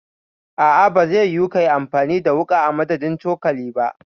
A'a bazai yiwu kayi amfani da wuƙa a madadin cokali ba.